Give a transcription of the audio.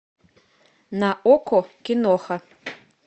на окко киноха